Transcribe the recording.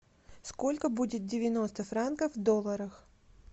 сколько будет девяносто франков в долларах